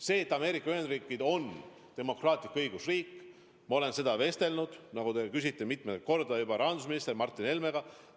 See, et Ameerika Ühendriigid on demokraatlik õigusriik – ma olen sel teemal vestelnud, nagu ma juba mitmendat korda kinnitan, rahandusminister Martin Helmega.